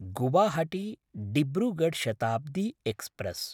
गुवाहाटी–डिब्रुगढ् Shatabdi express